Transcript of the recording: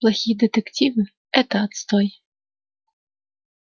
плохие детективы это отстой